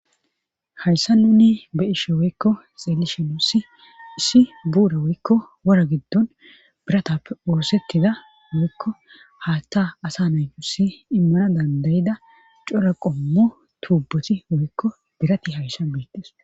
Hayssa nuni be ishe woykko xeelishinu si isi buure woykko wora giddon biratappe woosettida moykko haatta asa naytusi immana dandayida cora qommo tuubboti woykko dirati hayssa beittes.